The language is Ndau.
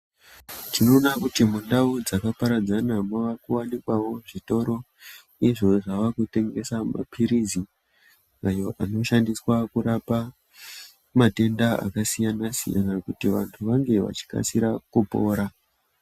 Tinoona kuti mundau dzakaparadzana mukawanikwawo zvitoro izvo zvava kutengesa mapirizi ayo anoshandiswa kurapa matenda akasiyana-siyana kuti vantu vange vachikasira kupora.